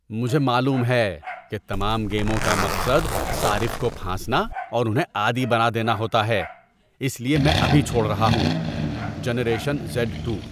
مجھے معلوم ہے کہ تمام گیموں کا مقصد صارف کو پھانسنا اور انہیں عادی بنا دینا ہوتا ہے، اس لیے میں ابھی چھوڑ رہا ہوں۔ (جنریشن زیڈ ٹو)